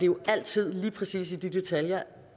jo altså lige præcis i de detaljer